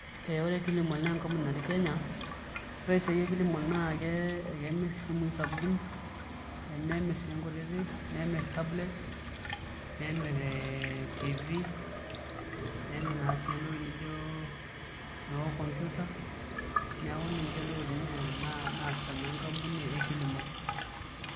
Ee ore Kilimall naa enkampuni natii Kenya ore esiai e Kilimall naa kemirr isimui sapukin nemirr sii nkutitik nemirr tablets nemirr TV nemirr naa sii entoki nijio naa computer neeku ninye ntokitin naasita naa enkamouni e Kilimall.